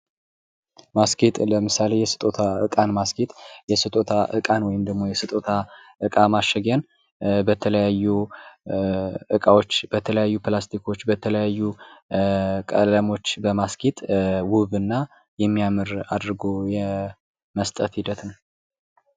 ማስጌጥ ማስጌጥ ለምሳሌ የስጦታ እቃን ማስጌጥ የስጦታ እቃን ወይም ደግሞ የስጦታ እቃ ማሸጊያን በተለያዩ እቃዎች በተለያዩ ፕላስቲኮች በተለያዩ ቀለሞች በማስጌጥ ውብ እና የሚያምር አድርጎ የመስጠት ሒደት ነው።